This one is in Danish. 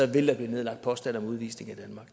vil blive nedlagt påstand om udvisning